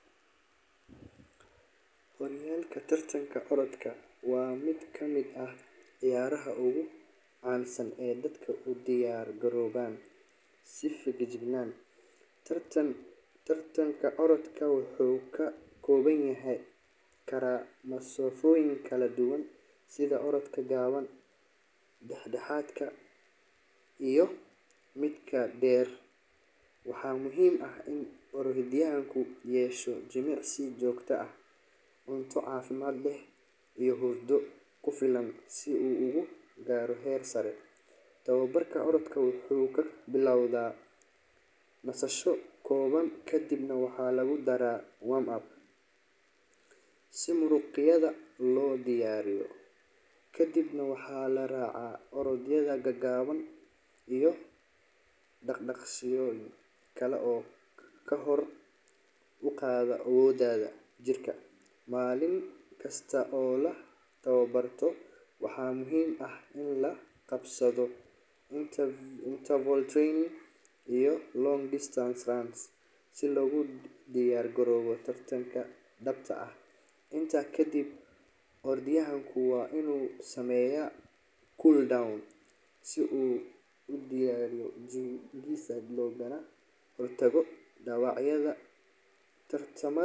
Horyaalka tartanka orodka waa mid ka mid ah ciyaaraha ugu caansan ee dadka u diyaar garoobaan si feejigan. Tartanka orodka wuxuu ka koobnaan karaa masaafooyin kala duwan sida orodka gaaban, dhex-dhexaadka ah iyo midka dheer. Waxaa muhiim ah in orodyahanku yeesho jimicsi joogto ah, cunto caafimaad leh iyo hurdo ku filan si uu u gaadho heer sare. Tababarka orodyahanka wuxuu ka bilowdaa nasasho kooban kadibna waxaa lagu daraa warm-up si muruqyada loo diyaariyo. Kadibna, waxaa la raacaa orodyo gaaban iyo dhaqdhaqaaqyo kale oo kor u qaada awoodda jirka. Maalin kasta oo la tababarto, waxaa muhiim ah in la qabsado interval training iyo long-distance runs si loogu diyaargaroobo tartanka dhabta ah. Intaa kadib, orodyahanku waa inuu sameeyaa cool-down si uu u dejiyo jidhkiisa loogana hortago dhaawacyo. Tartamada.